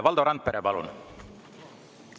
Valdo Randpere, palun!